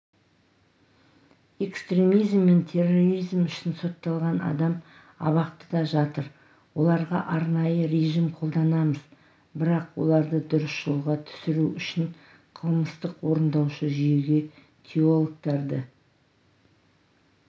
экстремизи мен терроризм үшін сотталған адам абақтыда жатыр оларға арнайы режим қолданамыз бірақ оларды дұрыс жолға түсіру үшін қылмыстық-орындаушы жүйеге теологтарды